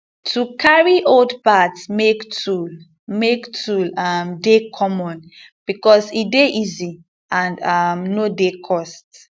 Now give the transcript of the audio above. to carry old parts make tool make tool um dey common becos e dey easy and um no dey cost